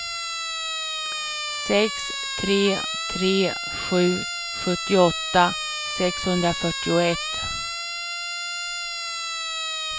sex tre tre sju sjuttioåtta sexhundrafyrtioett